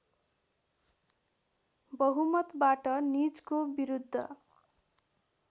बहुमतवाट निजको विरुद्ध